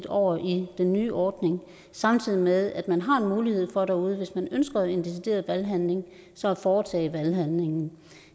over i den nye ordning samtidig med at man har en mulighed for derude hvis man ønsker en decideret valghandling så at foretage valghandlingen